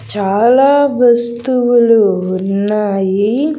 చాలా వస్తువులు ఉన్నాయి.